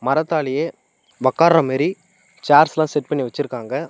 மரத்தாலயே ஒக்கார்ர மாரி சேர்ஸ்லா செட் பண்ணி வெச்சிருக்காங்க.